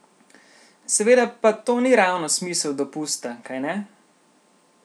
Seveda pa to ni ravno smisel dopusta, kajne?